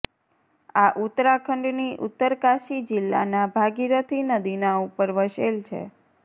આ ઉત્તરાખંડ ની ઉત્તરકાશી જીલ્લા ના ભાગીરથી નદી ના ઉપર વસેલ છે